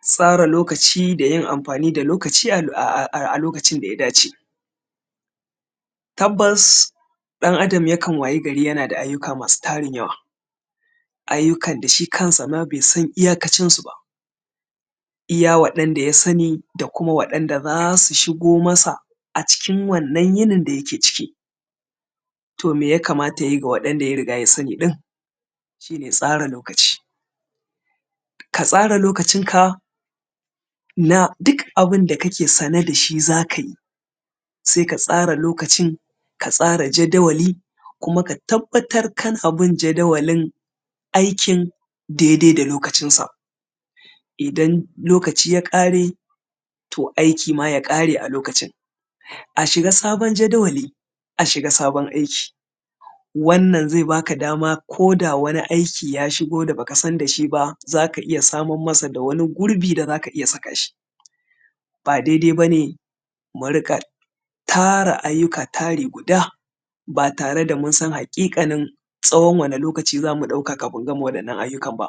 Tasara lokaci da yin amfani da lokaci a lokacin da ya dace. Tabbas ɗan-adam yakan wayi gari yana da ayyuka masu tarin yawa, ayyukan da shi kansa ma bai san iyakacinsu ba, iya waɗanda ya sani da kuma waɗanda za su shigo masa, acikin wannan yinin da yake ciki. To me ya kamata ya yi da waɗanda ya sani ɗin? Shi ne tsara lokaci. Ka tsara lokacinka na duk abun da kake sane da shi za ka yi, sai ka tsara lokacin, ka tsara jaddawali kuma ka tabbatar kana bin jaddawalin aikin daidai da lokacinsa, idan lokaci ya ƙare, to aiki ma ya ƙare a lokacin. A shiga sabon jadawali, a shiga sabon aiki, wannan zai baka dama ko da wani aiki ya shigo baka san da shi ba za ka iya samar masa da wani gurbi da za ka iya saka shi. Ba daidai bane mu din ga tara ayyuka tari guda, ba tare da mun san haƙiƙanin tsawon wane lokaci za mu ɗauka kafin mu gama waɗannan ayyukan ba.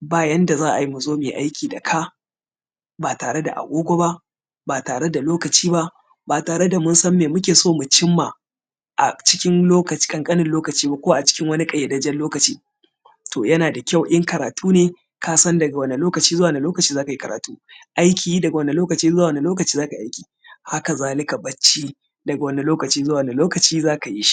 Ba yanda za a yi mu zo mu yi aiki da ka, ba tare da agogo ba, ba tare da lokaci ba, ba tare da mun san me muke so mu cimma a cikin lokaci ƙanƙanin lokaci ba ko a cikin wani ƙayyadajjen lokaci. To, yana da kyau in karatu ne ka san daga wane lokaci zuwa wane lokaci za ka yi karatun, aiki, daga wane lokaci zuwa wane lokaci za ka yi aiki, haka zalika bacci, daga wani lokaci zuwa wane lokaci za ka yi shi.